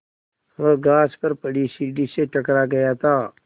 वह घास पर पड़ी सीढ़ी से टकरा गया था